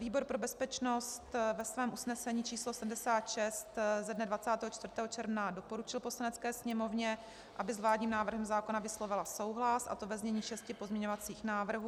Výbor pro bezpečnost ve svém usnesení číslo 76 ze dne 24. června doporučil Poslanecké sněmovně, aby s vládním návrhem zákona vyslovila souhlas, a to ve znění šesti pozměňovacích návrhů.